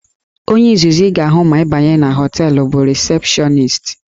Onye izizi ị ga-ahụ ma ị banye na họteelụ bụ rịsepshọnist